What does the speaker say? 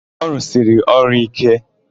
Ọ rụsiri ọrụ íké?